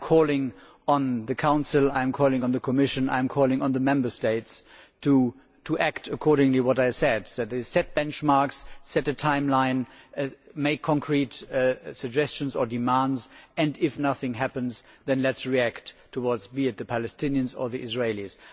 I am calling on the Council, I am calling on the Commission, I am calling on the Member States, to act in line with what I said set benchmarks, set a timeline, make concrete suggestions or demands, and if nothing happens, then let us react towards either the Palestinians or the Israelis.